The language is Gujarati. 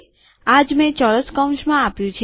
આ જ મેં ચોરસ કૌંસમાં આપ્યું છે